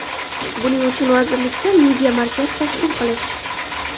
Buning uchun vazirlikda Media markaz tashkil qilish.